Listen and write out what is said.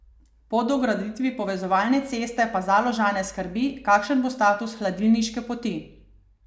Po dograditvi povezovalne ceste pa Založane skrbi, kakšen bo status Hladilniške poti.